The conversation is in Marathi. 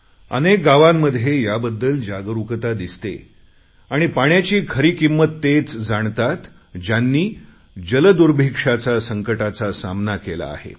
अनेक गावांमध्ये याबद्दल जागरुकता दिसते आणि पाण्याची खरी किंमत तेच जाणतात ज्यांनी जलदुर्भिक्षाच्या संकटाचा सामना केला आहे